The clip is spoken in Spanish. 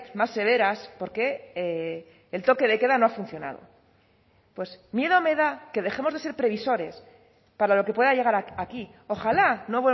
más severas porque el toque de queda no ha funcionado pues miedo me da que dejemos de ser previsores para lo que pueda llegar aquí ojalá no